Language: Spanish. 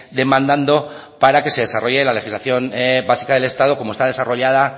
demandando para que se desarrolle la legislación básica del estado como está desarrollada